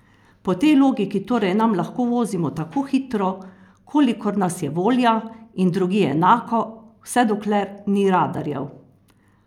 Po tej logiki torej tam lahko vozimo tako hitro, kolikor nas je volja, in drugje enako, vse dokler ni radarjev?